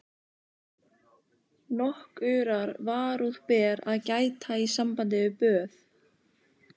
Nokkurrar varúðar ber að gæta í sambandi við böð